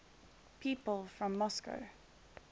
people from moscow